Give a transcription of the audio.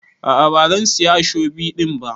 A'a bazan siya ashobi din ba.